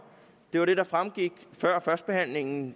det var det der fremgik før førstebehandlingen